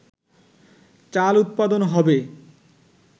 চাল উৎপাদন হবে